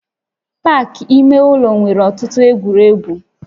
Pak ime ụlọ nwere ọtụtụ egwuregwu